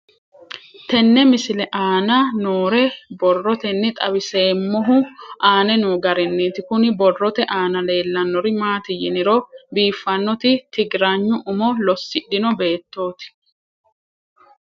Tenne misile aana noore borroteni xawiseemohu aane noo gariniiti. Kunni borrote aana leelanori maati yiniro bifaanoti tigiraanya umo loosidhino beetoti.